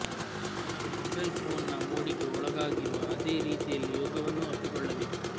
ಜನರು ಮೊಬೈಲ್ ಫೋನ್ನ ಮೋಡಿಗೆ ಒಳಗಾಗಿರುವ ಅದೇ ರೀತಿಯಲ್ಲಿ ಯೋಗವನ್ನೂ ಅಪ್ಪಿಕೊಳ್ಳಬೇಕು